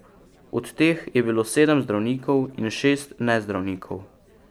Od teh je bilo sedem zdravnikov in šest nezdravnikov.